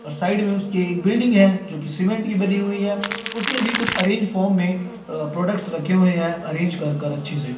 और साइड में उसके एक बिल्डिंग है जोकि सिमेन्ट की बनी हुई है उसमें भी कुछ अरेंज फ़ोम में अ प्रोडक्ट्स रखे हुए है अरेंज करकर अच्छे से --